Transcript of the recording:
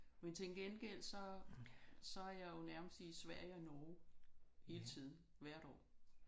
Men til gengæld så så er jeg jo nærmest i Sverige og Norge hele tiden hvert år